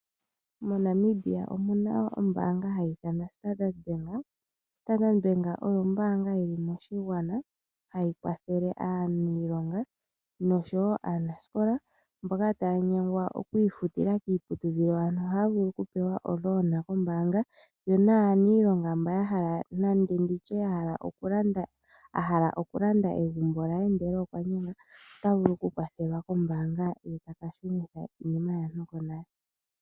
MoNamibia omuna ombaanga hayi ithanwa standard Bank . Standard Bank oyo ombaanga yili moshigwana hayi kwathele aaniilonga noshowoo aanasikola mboka taa nyangwa okwiifutila kiiputudhilo ano ohaa vulu okupewa omukuli kombaanga, yonaniilonga mba hala nenge okulanda iiniwe ye ndele okwa nyengwa, otavulu okukwathelwa kombaanga ye taka shunitha iimaliwa konale.